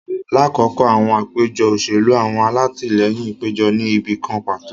Lakoko awọn apejọ oselu, awọn alatilẹyin pejọ ni ibi kan pato